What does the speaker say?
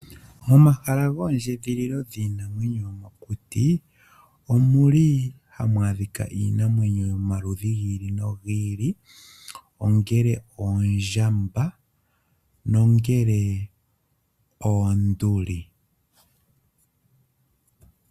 Momahala goondjidhililo dhiinamwenyo yomokuti omuli ha mwaadhika iinamwenyo yomaludhi giili nogiili ongele oondjamba nongele oonduli.